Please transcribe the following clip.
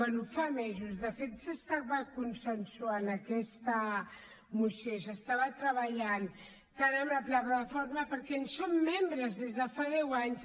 bé fa mesos de fet s’estava consensuant aquesta moció i s’estava treballant tant amb la plataforma perquè en som membres des de fa deu anys